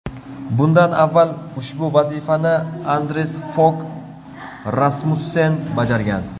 Bundan avval ushbu vazifani Anders Fog Rasmussen bajargan.